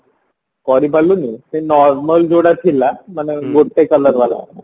କରିପାରିଲୁନି ସେ normal ଯୋଉଟା ଥିଲା ମାନେ ଗୋଟେ color ବାଲା